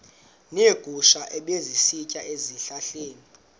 neegusha ebezisitya ezihlahleni